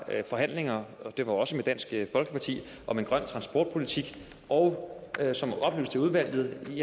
forhandlinger og det var også med dansk folkeparti om en grøn transportpolitik og som oplyst til udvalget